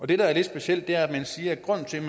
det der er lidt specielt er at man siger at grunden til